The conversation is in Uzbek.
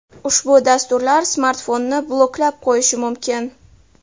Ushbu dasturlar smartfonni bloklab qo‘yishi mumkin.